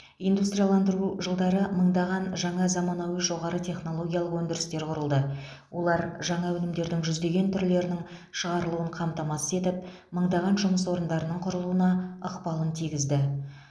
индустрияландыру жылдары мыңдаған жаңа заманауи жоғары технологиялық өндірістер құрылды олар жаңа өнімдердің жүздеген түрлерінің шығарылуын қамтамасыз етіп мыңдаған жұмыс орындарының құрылуына ықпалын тигізді